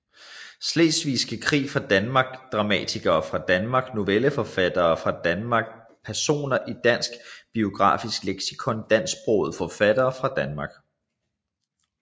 Slesvigske Krig fra Danmark Dramatikere fra Danmark Novelleforfattere fra Danmark Personer i Dansk Biografisk Leksikon Dansksprogede forfattere fra Danmark